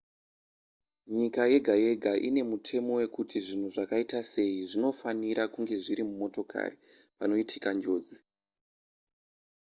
nyika yega yega ine mutemo wekuti zvinhu zvakaita sei zvinofanira kunge zviri mumotokari panoitika njodzi